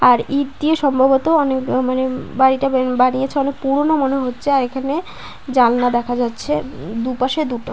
আর ইঁট দিয়ে সম্ভবত অনেক মানে বাড়িটা বা বানিয়েছে অনেক পুরোনো মনে হচ্ছে আর এখানে জানলা দেখা যাচ্ছে উম দুপাশে দুটো।